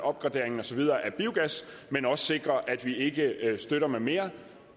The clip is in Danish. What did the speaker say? opgraderingen og så videre af biogas men også sikre at vi ikke støtter med mere